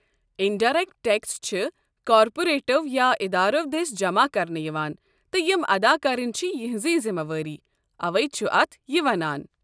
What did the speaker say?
Indirect tax چھِ کارپوریٹو یا ادارو دٔسۍ جمع کرنہٕ یوان تہٕ یم ادا کرٕنۍ چھ یِہٕنٛزٕے ذمہٕ وٲری، اوے چھ اتھ یہِ ناو۔